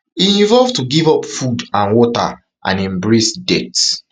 e involve to give up food and water and embrace death